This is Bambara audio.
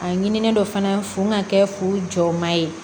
A ɲinini dɔ fana fo n ka kɛ fu jɔma ye